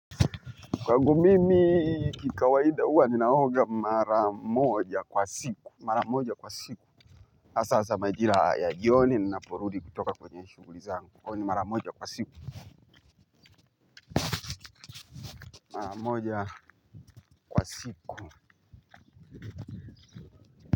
Kwangu mimi kikawaida huwa ninaoga mara moja kwa siku. Mara moja kwa siku hasa majira ya jioni nainaporudi kutoka kwenye shughuli zangu kwani mara moja kwa siku mara moja kwa siku.